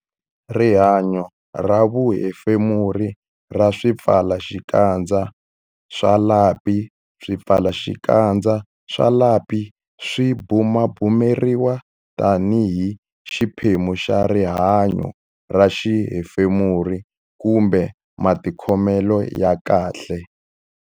Rihanyo ra vuhefemuri ra swipfalaxikandza swa lapi Swipfalaxikandza swa lapi swi bumabumeriwa tanihi xiphemu xa rihanyo ra vuhefemuri kumbe matikhomelo ya kahle.